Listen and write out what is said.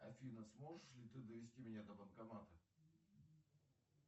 афина сможешь ли ты довезти меня до банкомата